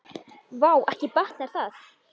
Vá, ekki batnar það!